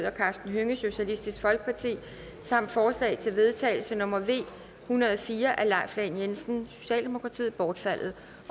og karsten hønge samt forslag til vedtagelse nummer v en hundrede og fire af leif lahn jensen bortfaldet